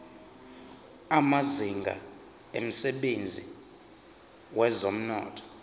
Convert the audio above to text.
amazinga emsebenzini wezomnotho